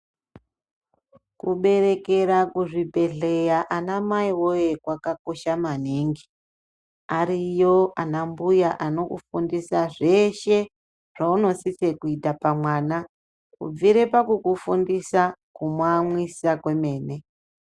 Kuberekera kuzvibhedhlera ana mai woye kwakakosha maningi ariyo ana mbuya anokufundisa zveshe zvaumosisal kuita vana kubvira pakukufundisa kumamwisa kwemene.